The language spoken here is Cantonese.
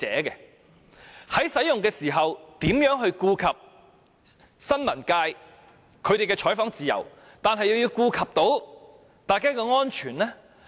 因此，在使用水炮時，究竟如何在顧及新聞界的採訪自由之餘，亦能兼顧各人的安全？